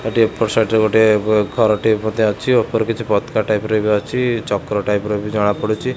ଏପଟ ସାଇଡରେ ଗୋଟିଏ ଘରଟିଏ ମଧ୍ଯ ଅଛି ଉପରେ କିଛି ପତାକା ଟାଇପର ବି ଅଛି ଚକ୍ର ଟାଇପର ବି ଜଣାପଡୁଛି।